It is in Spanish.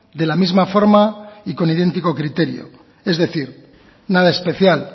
de la misma forma y con idéntico criterio es decir nada especial